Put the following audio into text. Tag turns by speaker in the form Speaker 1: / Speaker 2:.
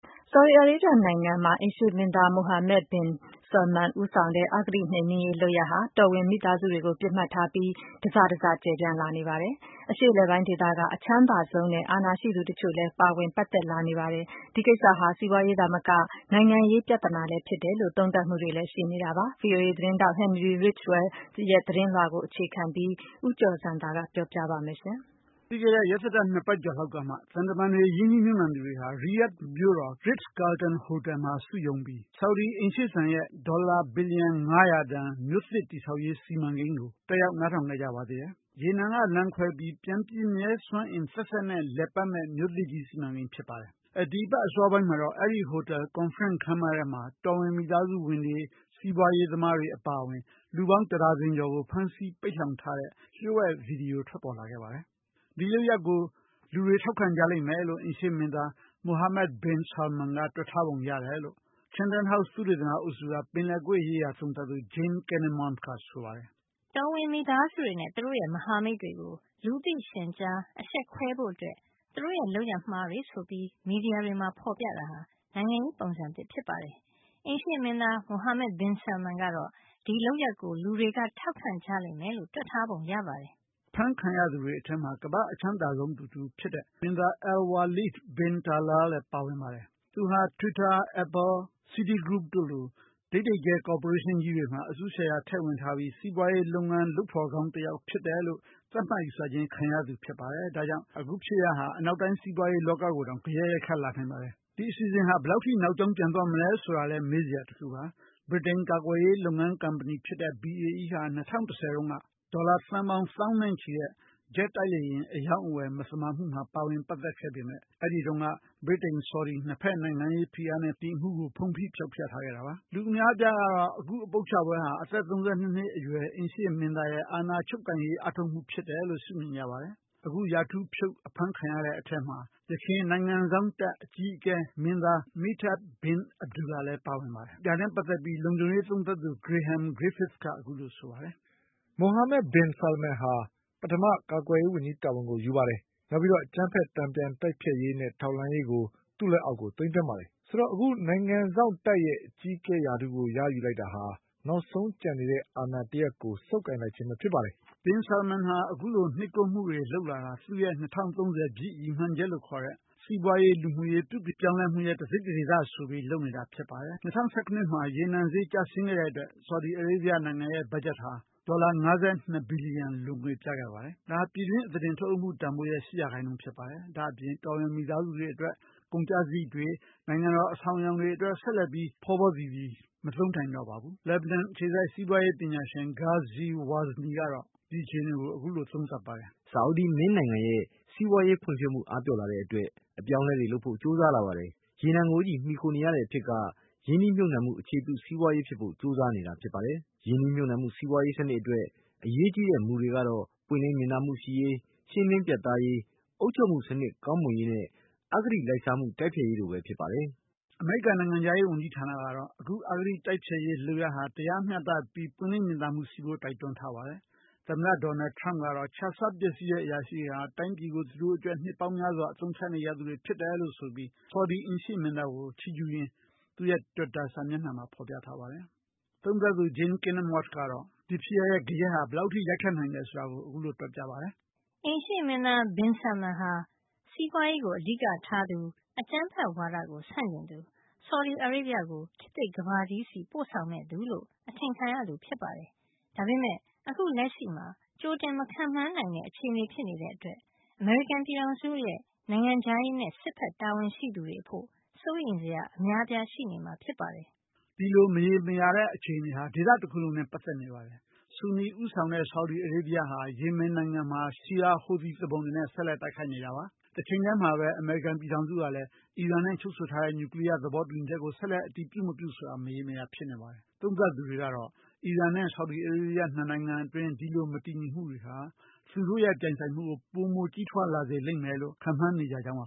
Speaker 1: ဆော်ဒီအာရေးဗျ နိုင်ငံမှာ အိမ်ရှေ ့မင်းသား Mohammed bin Salman ဦးဆောင်တဲ့ အဂတိနှိမ်နင်းရေးလုပ်ရပ်ဟာ တောဝင်မိသားစုတွေ ကိုပစ်မှတ်ထားပြီး တစတစကျယ်ပြန့်လာနေပါတယ်။ အရှေ့အလယ်ပိုင်းဒေသက အချမ်းသာဆုံးနဲ့ အာဏာရှိသူတချို့လဲပါဝင်ပတ်သက်လာနေပါတယ်။ ဒီကိစ္စဟာ စီးပွါးရေးသာမက နိုင်ငံရေးပြဿနာလဲဖြစ်တယ်လို့ သုံးသပ်မှုတွေလဲရှိနေပါတယ်။ VOA သတင်းထောက် Henry Ridgwell ရဲ့သတင်းလွှာကိုအခြေခံပြီး ဦးကျော်ဇံသာက ပြောပြမှာပါ။
Speaker 2: ပြီးခဲ့တဲ့ ရက်သတ္တ ၂ ပတ်ကျော်လောက်ကမှ သံတမန်တွေ ရင်းနှီးမြှုပ်နှံသူတွေ ဟာ ရီယာဒ် မြို့တော် Ritz Carlton ဟိုတယ်မှာစုရုံးပြီး ဆော်ဒီအိမ်ရှေ့စံ ရဲ့ ဒေါ်လာ ဘီလျံ ၅၀၀ တန်မြို့သစ်ကြီး တည်ဆောက်ရေး စီမံကိန်းကို နားထောင်ခဲ့ကြပါသေးတယ်။ ရေနံကလမ်းခွဲပြီးပြန်ပြည့်မြဲ စွမ်းအင်သက်သက်နဲ့ လည်ပတ်မယ့် စီမံကိန်းကြီးတရပ်ဖြစ်ပါတယ်။ ဒီအပတ် အစောပိုင်းမှာတော့ အဲဒီဟိုတယ် ကွန်ဖရင့်ခမ်းမထဲမှာ တော်ဝင်မိသားစုဝင်တွေ စီးပွါးရေးသမားတွေ အပါအဝင် လူပေါင်းတဒါဇင်ကျော်ကို ဖမ်းဆီးပိတ်လှောင်ထားတဲ့ လျှို့ဝှက်ဗီဒီယို ပေါ်ထွက်လာခဲ့ပါတယ်။ ဒီလုပ်ရပ်ကို လူတွေထောက်ခံကြလိမ့်မယ်လို့ အိမ်ရှေ့မင်းသား Mohammed bin Salman က တွက်ထားပုံ ရတယ်လို့ Chanthan House သုတေသနအုပ်စုက ပင်လယ်ကွေ့ရေးရာသုံးသပ်သူ Jane Kinninmont ကဆိုပါတယ်။
Speaker 1: “ တော်ဝင်မိသားစုဝင်တွေနဲ့ သူတို့ရဲ့မဟာမိတ်တွေကို လူသိရှင်ကြားအရှက်ခွဲဖို့အတွက် သူတို့ရဲ့ လုပ်ရပ်မှားတွေဆိုပြီး မီဒီယာတွေမှာဖေါ်ပြတာဟာ နိုင်ငံရေးပုံစံသစ်ဖြစ်ပါတယ်။ အိမ်ရှေ့မင်းသား Mohammed bin Salman ကတော့ ဒီလုပ်ရပ်ကို လူတွေထောက်ခံကြလိမ့်မယ်လို့ တွက်ထားပုံရပါတယ်။"
Speaker 2: အဖမ်းခံရသူတွေထဲမှာ ကမ္ဘာ့အချမ်းသာဆုံးသူတဦးဖြစ်တဲ့ မင်းသား Alwaleed bin Talal လဲ ပါဝင်ပါ တယ်။ သူဟာ twitter, Apple, Citygroup တို့လို ဒိပ်ဒိပ်ကျဲ ကော်ပိုရေးရှင်းကြီးတွေမှာ အစု ရှယ်ယာတွေ ထည့်ဝင်ထားပြီး စီးပွါးရေးလုပ်ဖော်ကောင်းတယောက်လို့မှတ်ယူခြင်းခံရသူ ဖြစ်ပါတယ် ဒါကြောင့် အခုဖြစ်ရပ်ဟာ အနောက်တိုင်းစီးပွါးရေးလောကကို တောင်ဂယက်ရိုက်ခတ်လာနိုင်ပါတယ်။ ဒီအစီအစဉ်ဟာ ဘယ်လောက်ထိနောက်ကြောင်းပြန်သွားမလဲဆိုတာလဲ ဆိုတာလဲမေးစရာပါ။ ဗြိတိန်ကာကွယ်ရေးလုပ်ငန်းကုမ္ပဏီ BAE ဟာ ၂၀၁၀ တုန်းက ဒေါ်လာ သန်းပေါင်းသောင်းနဲ့ချီတဲ့ ဂျက်တိုက်လေယာဉ် အရောင်းအဝယ် မသမာမှုမှာပါဝင်ခဲ့ပေမဲ့ ဒီအမှုကို ဗြီတိန်-ဆော်ဒီ ၂ ဖက်နိုင်ငံရေးဖိအား နဲ့ ဒီအမှုကို ဖုံးဖိဖောက်ဖျက်ထားခဲ့ကြတာပါ။ လူအများအပြားကတော့ ဒီအပုပ်ချပွဲဟာ အသက် ၃၂ နှစ်အရွယ် အိမ်ရှေ ့မင်းသားရဲ့ အာဏာ ချုပ်ကိုင်ရေး အားထုတ်မှုအဖြစ် ရှုမြင်ကြပါတယ်။ အခုရာထူးဖြုတ်အဖမ်းခံရတဲ့ အထဲမှာ ယခင် နိုင်ငံစောင့်တပ် အကြီးအကဲဟောင်းမင်းသား Miteb bin Abdullah လဲပါဝင်ပါတယ်။ ဒါနဲ့ ပတ်သက်ပြီး လုံခြုံရေးသုံးသပ်သူ Graham Griffiths က အခုလို ဆိုပါတယ်။ “ Mohammed bin Salman ဟာ ပထမ ကာကွယ်ရေးဝန်ကြီးရာထူးကိုယူတယ်၊ နောက် အကြမ်းဖက် တန်ပြန်တိုက်ဖျက်ရေးနဲ့ ထောက်လှမ်းရေးကို သူ့လက်အောက် သိမ်းသွင်းတယ်။ ဆိုတော့ အခု နိုင်ငံစောင့်တပ်ရဲ့ အကြီးအကဲရာထူးကို ရယူလိုက်တာဟာ နောက်ဆုံးကျန်နေတဲ့ အာဏာတရပ်ကို ဆုပ်ကိုင်လိုက်ခြင်းပဲဖြစ်တယ်” -လို့ လုံခြုံရေးသုံးသပ်သူ Graham Griffiths က ဆိုပါတယ်။ Bin Salman ဟာ အခုလို နှိပ်ကွပ်မှုတွေလုပ်တာဟာ သူ့ရဲ့ ၂၀၃၀ ပြည့် ရည်မှန်းချက်လို့ခေါ်တဲ့ စီးပွားရေး၊ လူမှုရေး ပြုပြင်ပြောင်းလဲမှု တစိတ်တဒေသအနေနဲ့ ဆိုပြီး လုပ်နေတာဖြစ်ပါတယ်။ ၂၀၁၇ နှစ် ရေနံဈေး ကျဆင်းခဲ့တဲ့အတွက် ဆော်ဒီအာရေဗျနိုင်ငံရဲ့ ဘတ်ဂျက်ဟာ ဒေါ်လာ ၅၂ ဘီလီယံ လိုငွေပြခဲ့ပါတယ်။ ဒါဟာ ပြည်တွင်းအသားတင်ထုတ်လုပ်မှုတန်ဖိုးရဲ့ ၈% ဖြစ်ပါတယ်။ ဒါ့အပြင် တော်ဝင်မိသားစုတွေအတွက် ကုန်ကျစရိတ်တွေ ၊ နိုင်ငံတော် အဆောင်အယောင်တွေအတွက် ဆက်လက်ပြီး ဖောဖောသီသီမသုံးနိုင်တော့ပါဘူး။ လက်ဘနွမ် အခြေစိုက် စီးပွားရေးပညာရှင် Ghazi WAzni က အခုလို သုံးသပ်ပြောဆိုပါတယ်။ “ဆော်ဒီမင်းနိုင်ငံရဲ့ စီးပွားရေးဖွံ့ဖြိုးမှု အားပျော့လာတဲ့အတွက် အပြောင်းအလဲတွေလုပ်ဖို့ ကြိုးစားလာပါတယ်။ ရေနံကိုပဲ မှီခိုနေရတဲ့အဖြစ်က ရင်းနှီးမြှုပ်နှံမှု အခြေပြု စီးပွားရေးဖြစ်ဖို့ ကြိုးစားနေတာ ဖြစ်ပါတယ်။ ရင်းနှီးမြှုပ်နှံမှုစီးပွားရေးစနစ်အတွက် အရေးကြီးတဲ့မူတွေကတော့ ပွင့်လင်းမြင်သာမှုရှိရေး၊ ရှင်းလင်းပြတ်သားရေး၊ အုပ်ချုုပ်မှုစနစ် ကောင်းမွန်ရေးနဲ့ အဂတိလိုက်စားမှု တိုက်ဖျက်ရေးတို့ပဲဖြစ်ပါတယ်” အမေရိကန်နိုင်ငံခြားရေးဝန်ကြီးဌာနကတော့ အခု အဂတိမှု တိုက်ဖျက်ရေးလုပ်ရပ်ဟာ တရားမျှတမှုနဲ့ ပွင့်လင်းမြင်သာမှုရှိဖို့ တိုက်တွန်းထားပါတယ်။ သမ္မတ ထရမ့်ကတော့ ခြစားပျက်စီးတဲ့အရာရှိတွေဟာ တိုင်းပြည်ကို သူတို့အကျိုးအတွက် နှစ်ပေါင်းများစွာ အသုံးချနေကြသူတွေဖြစ်တယ်လို့ ဆိုပြီး ဆော်ဒီ အိမ်ရှေ့မင်းသားကို ချီးကျူးရင်း သူ့ရဲ့ တွစ်တာ စာမျက်နှာမှာ ဖော်ပြထားပါတယ်။ သုံးသပ်သူ Jane Kinninmont ကတော့ “အိမ်ရှေ့မင်းသား
Speaker 1: Bin Salman ဟာ စီးပွားရေးကို အဓိက ထားသူ၊ အကြမ်းဖက်ဝါဒကို ဆန့်ကျင်သူ၊ ဆော်ဒီအာရေဗျကို ခေတ်သစ် ကမ္ဘာကြီးဆီ ပို့ဆောင်မယ့်သူလို့ အထင်ခံရသူဖြစ်ပါတယ်။ ဒါပေမယ့် အခုလက်ရှိမှာ ကြိုတင်မခန့်မှန်းနိုင်တဲ့ အခြေအနေဖြစ်နေတဲ့အတွက် အမေရိကန်ပြည်ထောင်စုရဲ့နိုင်ငံခြားရေးနဲ့ စစ်ဘက် တာဝန်ရှိသူတွေအဖို့ စိုးရိမ်စရာ အများအပြား ရှိနေမှာဖြစ်ပါတယ်။
Speaker 2: ” ဒီမရေရာတဲ့အခြေအနေဟာ ဒေသတခုလုံးနဲ့လည်း ပတ်သက်နေပါတယ်။ ဆူနီ ဦးဆောင်တဲ့ ဆော်ဒီ အာရေးဗျဟာ ယေမင်နိုင်ငံမှာ Shi’ite ဟူသီသူပုန်တွေနဲ့ ဆက်လက်တိုက်ခိုက်နေပါတယ်။ တချိန်တည်းမှာပဲ အမေရိကန်ပြည်ထောင်စုကလည်း အီရန်နဲ့ချုပ်ဆိုထားတဲ့နျူကလီယား သဘောတူညီချက်ကို ဆက်လက် အတည်ပြုမပြုဆိုတာ မရေမရာ ဖြစ်နေပါတယ်။ သုံးသပ်သူတွေကတော့ အီရန်နဲ့ ဆော်ဒီအာရေးဗျ နှစ်နိုင်ငံအတွင်း မတည်ငြိမ်မှုဟာ သူတို့ရဲ့ ပြိုင်ဆိုင်မှုကို ပိုမို ကြီးထွားလာလိမ့်မယ်လို့ ခန့်မှန်းနေကြကြောင်းပါ